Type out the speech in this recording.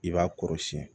I b'a kɔrɔ siyɛn